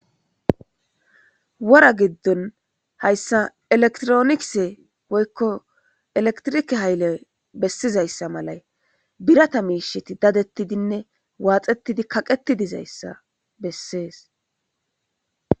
Wora giddon hayssa elektroniise woykko elektrike haylley bessizayssa malay birata miisheti dadettidinne waaxetidi kaqetidizayssa bessees.